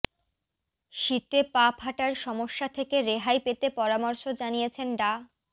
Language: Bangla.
শীতে পা ফাটার সমস্যা থেকে রেহাই পেতে পরামর্শ জানিয়েছেন ডা